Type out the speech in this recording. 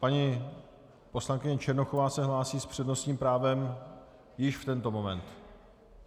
Paní poslankyně Černochová se hlásí s přednostním právem již v tento moment.